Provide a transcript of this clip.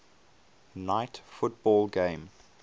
night football game